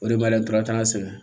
O de b'a la n taara an sɛgɛn